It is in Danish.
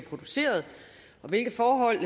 produceret og hvilke forhold